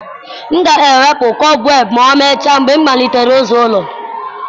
M ga-ewepụ kọbweb ma emechaa mgbe m malitere ịza ụlọ.